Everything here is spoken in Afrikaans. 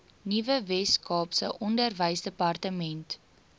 nuwe weskaapse onderwysdepartement